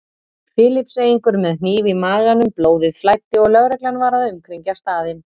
Filippseyingur með hníf í maganum, blóðið flæddi og lögreglan var að umkringja staðinn.